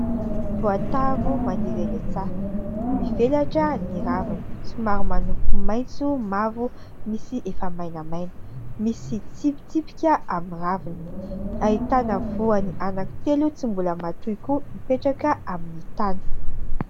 Voatavo maniry eny antsaha, mivelatra ny raviny somary manompo maintso mavo misy efa mainamaina, misy tsipitsipika amin'ny raviny, ahitana voany anankitelo tsy mbola matoy koa mipetraka amin'ny tany.